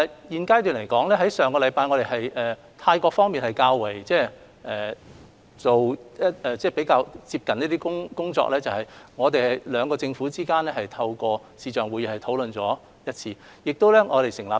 現階段來說，於上星期，泰國方面是進行了較為接近的工作，而兩地的政府也透過視像會議進行了一次商討。